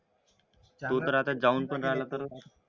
आता जाऊन पण राहिला तर